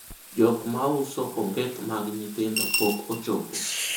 jok mauso onget mag nyithindo pok ochopo